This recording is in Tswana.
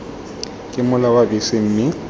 ke mola wa bese mme